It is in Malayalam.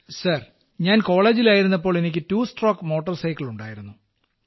സർ ഞാൻ കോളേജിൽ ആയിരുന്നപ്പോൾ എനിക്ക് ടു സ്ട്രോക്ക് മോട്ടോർ സൈക്കിൾ ഉണ്ടായിരുന്നു